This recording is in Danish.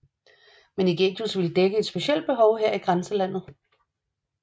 Men Ægidius ville dække et specielt behov her i grænseområdet